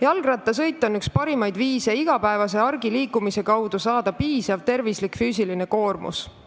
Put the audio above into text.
Jalgrattasõit on üks parimaid viise saada igapäevase argiliikumise kaudu piisav füüsiline koormus, mis on tervislik.